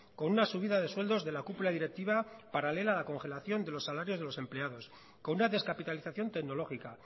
con una subida de sueldos de la cúpula directiva paralela a congelación de los salarios de los empleados con una descapitalización tecnológica